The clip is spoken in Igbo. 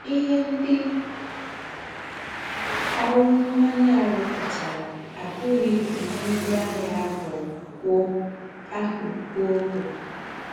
Íhe ńdị ọ́rụ́ m̀mányè à rùpùtàrà àbùghị údị́ ńgwá àgha àhụ́ kwò àhụ́ kwò bú.